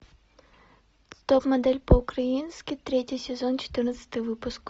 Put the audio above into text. топ модель по украински третий сезон четырнадцатый выпуск